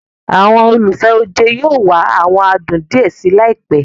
Àwọn olùfẹ́ oje yóò wá awọn adùn díẹ̀ síi laipe